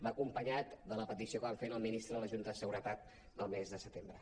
va acompanyada de la petició que vam fer al ministre en la junta de seguretat del mes de setembre